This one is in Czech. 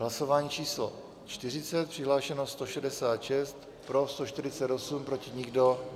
Hlasování číslo 40, přihlášeno 166, pro 148, proti nikdo.